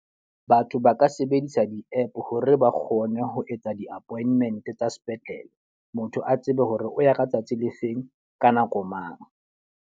Batho ba ka sebedisa di-app hore ba kgone ho etsa di-appointment tsa sepetlele. Motho a tsebe hore o ya ka tsatsi le feng, ka nako mang.